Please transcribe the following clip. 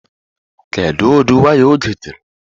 Kedu ụdị waya o gotere?